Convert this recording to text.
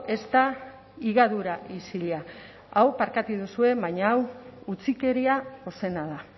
ez da higadura isila hau barkatuko didazue baina hau utzikeria ozena da